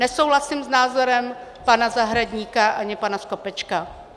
Nesouhlasím s názorem pana Zahradníka ani pana Skopečka.